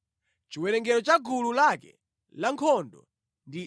Chiwerengero cha gulu lake lankhondo ndi 74,600.